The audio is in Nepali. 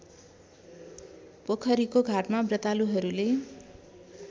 पोखरीको घाटमा व्रतालुहरूले